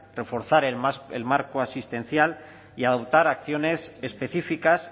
reforzar el marco asistencial y adoptar acciones específicas